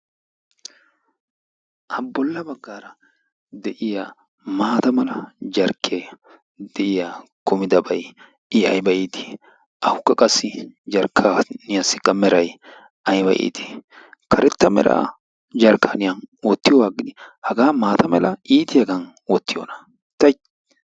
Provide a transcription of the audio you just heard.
Bolla baggara de'iya maata mala jarkkiyaan de'ia kumidabay I aybba iit! awukka qassi jarkkaniyassika meray aybba iit! Karetta mera jarkkaniyaan wottiyooga agidi haga maata mala jarkkaniyaan iitiyaagan wottiyoona! ti!